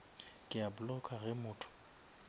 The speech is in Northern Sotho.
ke a blocka ge motho